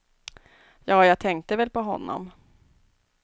Ja, jag tänkte väl på honom.